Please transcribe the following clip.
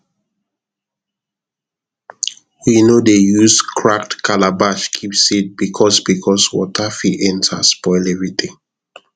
we no dey use cracked calabash keep seed because because water fit enter spoil everything